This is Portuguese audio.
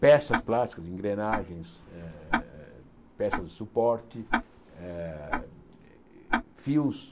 peças plásticas, engrenagens, eh eh peças de suporte, eh fios.